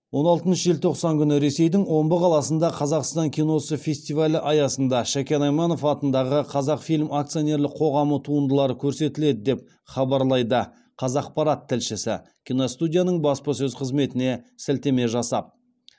он алтыншы желтоқсан күні ресейдің омбы қаласында қазақстан киносы фестивалі аясында шәкен айманов атындағы қазақфильм акционерлік қоғамы туындылары көрсетіледі деп хабарлайды қазақпарат тілшісі киностудияның баспасөз қызметіне сілтеме жасап